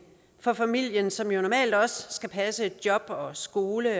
for familien som jo normalt også skal passe job og skole